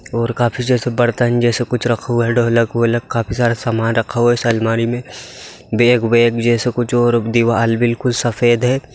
और काफी जैसे बर्तन जैसे कुछ रखा हुआ है ढोलक वोलक काफी सारा समान रखा हुआ है उस अलमारी में बैग वैग जैसा कुछ और दीवाल बिल्कुल सफेद है।